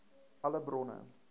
alle bronne